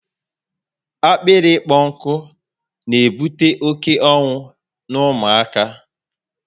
Akpịrị ịkpọ nkụ na ebute oké ọnwụ n'ụmụ aka